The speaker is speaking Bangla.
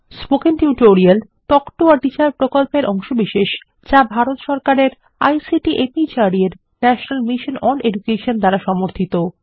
spoken tutorial talk to a teacher প্রকল্পের অংশবিশেষ যা ভারত সরকারের আইসিটি মাহর্দ এর ন্যাশনাল মিশন ওন এডুকেশন দ্বারা সমর্থিত